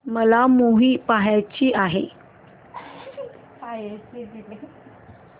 मला मूवी पहायचा आहे